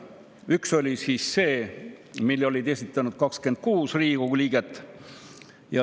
Üks oli see, mille olid esitanud 26 Riigikogu liiget.